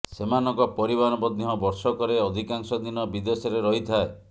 ସେମାନଙ୍କ ପରିବାର ମଧ୍ୟ ବର୍ଷକରେ ଅଧିକାଂଶ ଦିନ ବିଦେଶରେ ରହିଥାଏ